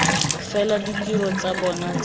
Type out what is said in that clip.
fela ditiro tsa bona tsa